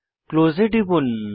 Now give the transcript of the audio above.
close এ টিপুন